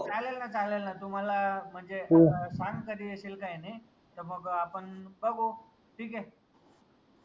चाललं ना चाललं ना तू मला म्हनजे सांग कधी येशील काई नाई त मग आपन बघू ठीक ए